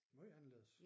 Måj anderledes